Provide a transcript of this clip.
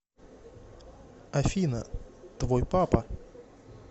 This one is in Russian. афина твой папа